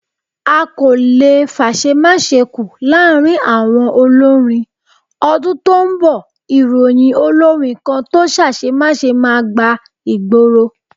A kò le fáṣèmáṣe kù láàárín àwọn olórin. Ọdún tó ń bọ̀, ìròyìn olórin kan tó ṣaṣemáṣe máa gba ìgboro.